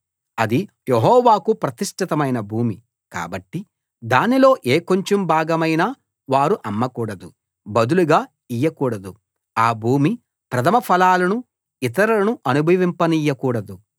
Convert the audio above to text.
అది యెహోవాకు ప్రతిష్ఠితమైన భూమి కాబట్టి దానిలో ఏ కొంచెం భాగమైనా వారు అమ్మకూడదు బదులుగా ఇయ్యకూడదు ఆ భూమి ప్రథమ ఫలాలను ఇతరులను అనుభవింపనియ్య కూడదు